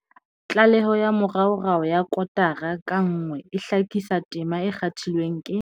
Tlaleho ya moraorao ya kotara ka nngwe e hlakisa tema e kgathilweng ke